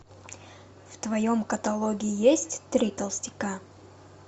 в твоем каталоге есть три толстяка